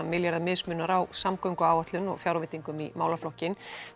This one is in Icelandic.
milljarða mismunar á samgönguáætlun og fjárveitingum í málaflokkinn